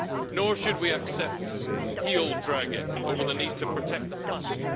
Nor should we accept heel dragging over the need to protect the planet.